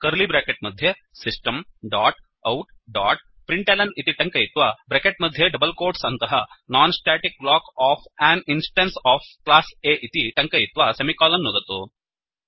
curly bracket मध्ये system dot out dot println इति टङ्कयित्वा ब्रेकेट् मध्ये डबल् कोट्स् अन्तः non static block of an instance of class A इति टङ्कयित्वा सेमिकोलन् नुदतु